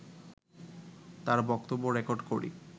তাঁর বক্তব্য রেকর্ড করি